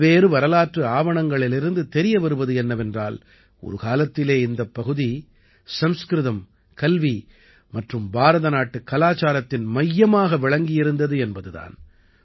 பல்வேறு வரலாற்று ஆவணங்களிலிருந்து தெரிய வருவது என்னவென்றால் ஒரு காலத்திலே இந்தப் பகுதி சம்ஸ்கிருதம் கல்வி மற்றும் பாரதநாட்டுக் கலாச்சாரத்தின் மையமாக விளங்கியிருந்தது என்பது தான்